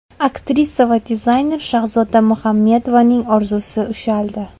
Aktrisa va dizayner Shahzoda Muhammedovaning orzusi ushaldi.